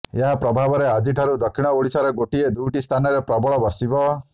ଏହା ପ୍ରଭାବରେ ଆଜିଠାରୁ ଦକ୍ଷିଣ ଓଡ଼ିଶାର ଗୋଟିଏ ଦୁଇଟି ସ୍ଥାନରେ ପ୍ରବଳ ବର୍ଷିବ